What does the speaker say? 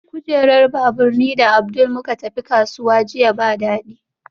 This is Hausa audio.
Kujerar babur ni da Abdul muka tafi kasuwa jiya ba dadi